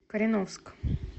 кореновск